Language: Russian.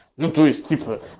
ну то есть цикла